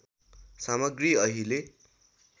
सामग्री अहिले